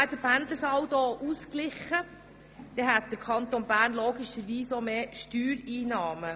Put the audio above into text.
Wäre der Pendlersaldo ausgeglichen, dann hätte der Kanton Bern logischerweise auch mehr Steuereinnahmen.